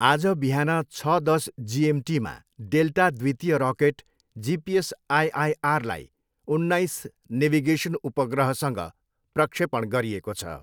आज बिहान छ दस जिएमटीमा डेल्टा द्वितीय रकेट, जिपिएस आइआइआरलाई उन्नाइस नेभिगेसन उपग्रहसँग प्रक्षेपण गरिएको छ।